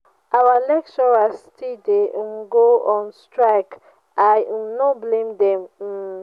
our lecturers still dey um go on strike? i um no blame dem um